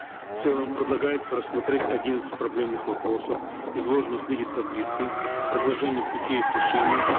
в целом предлагается рассмотреть одиннадцать проблемных вопросов изложенных в виде таблицы с предложением пути их решения